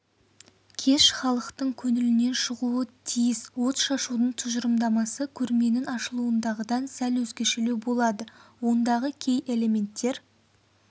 кеш іалықтың көңілінен шығуы тиіс отшашудың тұжырымдамасы көрменің ашылуындағыдан сәл өзгешелеу болады ондағы кей әлементтер